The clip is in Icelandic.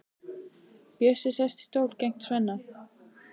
Bjössi sest í stól gegnt Svenna.